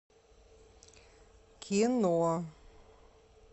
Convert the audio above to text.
кино